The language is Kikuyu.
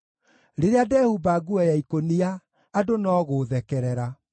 rĩrĩa ndehumba nguo ya ikũnia, andũ no gũũthekerera.